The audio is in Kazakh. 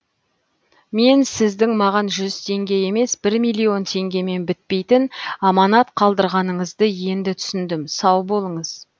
мен сіздің маған жүз теңге емес бір миллион теңгемен бітпейтін аманат қалдырғаныңызды енді түсіндім сау болыңыз